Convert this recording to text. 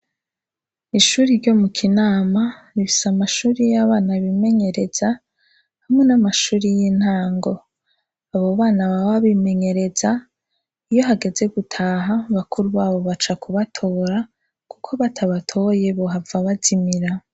Ishure ryo Mukinama rifise amashure yimenyereza, hamwe namashure yintango. abobana baba bimenyereza iyo hageze gutaha, bakuru babo baca kubatora, kuko batabatoye bohava bazimira.